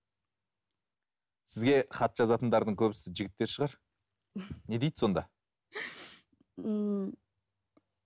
сізге хат жазатындардың көбісі жігіттер шығар не дейді сонда ммм